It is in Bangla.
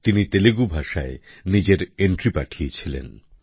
তিনি তেলুগু ভাষায় নিজের এন্ট্রি পাঠিয়েছিলেন